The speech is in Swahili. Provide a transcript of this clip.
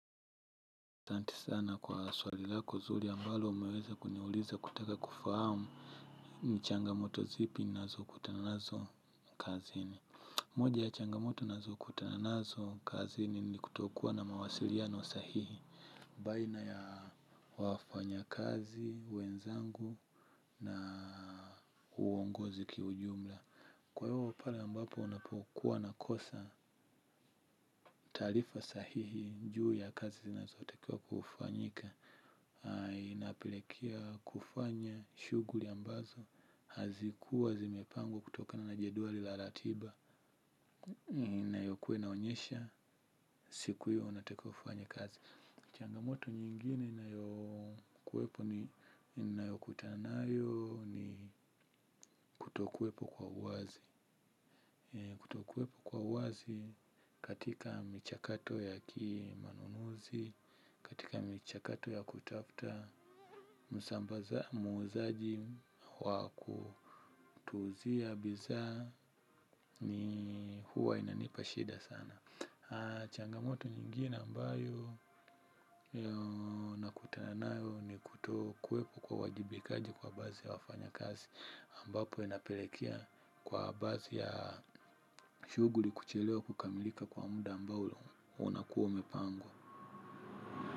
Asanti sana kwa swali lako zuri ambalo umeweza kuniuliza kutaka kufahamu ni changamoto zipi ninazokutana nazo kazini. Moja ya changamoto ninazokutana nazo kazini ni kutokuwa na mawasiliano sahihi baina ya wafanyakazi, wenzangu na uongozi kiujumla. Kwa hiyo pale ambapo ninapokuwa nakosa taalifa sahihi juu ya kazi zinazotakiwa kufanyika. Inapelekea kufanya shughuli ambazo hazikuwa zimepangwo kutokana na jeduari la latiba. Inayokua inaonyesha siku hiyo unatakiwa kufanya kazi. Changamoto nyingine ninayokutana nayo ni kutokuwepo kwa uwazi. Kutokuwepo kwa uwazi katika michakato ya kiimanunuzi, katika michakato ya kutafuta, muuzaji wa kutuuzia bizaa ni huwa inanipa shida sana. Changamoto nyingine ambayo nakuta nayo ni kutokuwepo kwa uwajibikaji kwa baazi ya wafanyakazi ambapo inapelekea kwa baazi ya shuguli kuchelewa kukamilika kwa muda ambao unakuwa umepangwa.